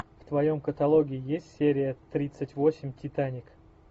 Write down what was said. в твоем каталоге есть серия тридцать восемь титаник